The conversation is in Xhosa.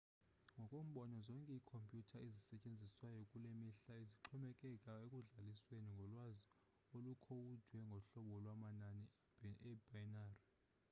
ngokombono zonke ikhompyutha ezisetyenziswayo kulemihla zixhomekeke ekudlalisweni ngolwazi olukhowudwe ngohlobo lwamanani ebinary